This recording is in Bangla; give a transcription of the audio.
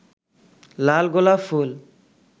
লাল গোলাপ ফুল